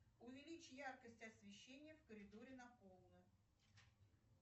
увеличь яркость освещения в коридоре на полную